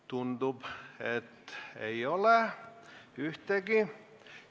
Tundub, et ei ole ühtegi.